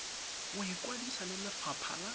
go ikwadisa le lefapha la